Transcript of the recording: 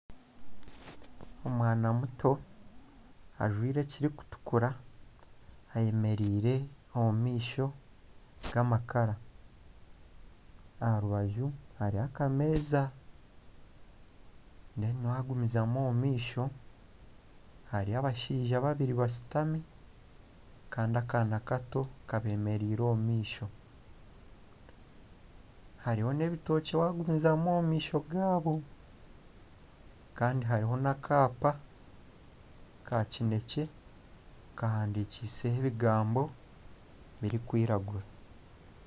Omwana muto ajwaire ekirikutukura ayemereire omu maisho g'amakara. Aha rubaju hariho akameeza reero wagumizamu omu maisho, hariho abashaija babiri bashutami kandi akaana kato kabeemereire omu maisho. Hariho n'ebitookye wagumizamu omu maisho gaabo. Kandi hariho n'akaapa ka kineekye kahandikiiseho ebigambo birikwiragura.